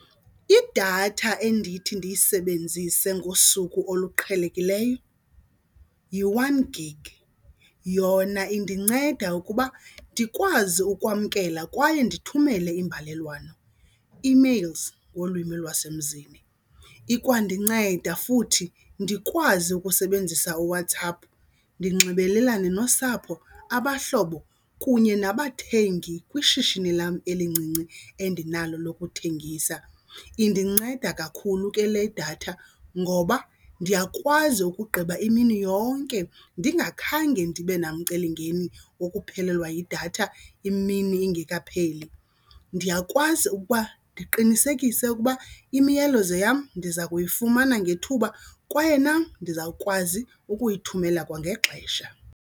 Idatha endithi ndiyisebenzise ngosuku oluqhelekileyo yi-one gig. Yona indinceda ukuba ndikwazi ukwamkela kwaye ndithumele iimbalelwano, emails ngolwimi lwasemzini. Ikwa ndinceda futhi ndikwazi ukusebenzisa uWhatsApp ndinxibelelane nosapho, abahlobo kunye nabathengi kwishishini lam elincinci endinalo lokuthengisa. Indinceda kakhulu ke le datha ngoba ndiyakwazi ukugqiba imini yonke ndingakhange ndibe namcelimngeni wokuphelelwa yidatha imini ingekapheli. Ndiyakwazi ukuba ndiqinisekise ukuba imiyalezo yam ndiza kuyifumana ngethuba kwaye nam ndizawukwazi ukuyithumela kwangexesha.